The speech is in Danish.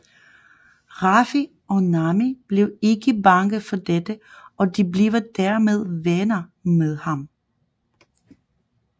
Ruffy og Nami blev ikke bange for dette og de bliver dermed venner med ham